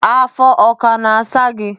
Afọ aka na-asa gị?